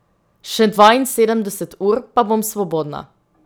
Še dvainsedemdeset ur, pa bom svobodna.